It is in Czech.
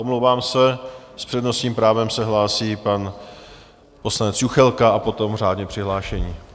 Omlouvám se, s přednostním právem se hlásí pan poslanec Juchelka a potom řádně přihlášení.